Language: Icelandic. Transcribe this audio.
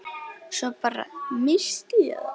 Svo bara. missti ég það.